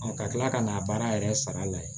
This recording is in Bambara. ka tila ka n'a baara yɛrɛ sara lajɛ